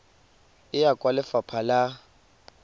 e ya kwa lefapha la